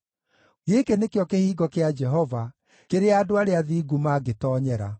Gĩkĩ nĩkĩo kĩhingo kĩa Jehova kĩrĩa andũ arĩa athingu mangĩtoonyera.